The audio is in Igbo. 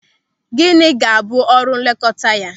Gịnị ga-abụ ọrụ nlekọta ya?